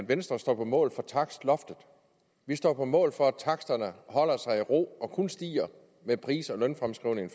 at venstre står på mål for takstloftet vi står på mål for at taksterne holder sig i ro og kun stiger med pris og lønfremskrivningen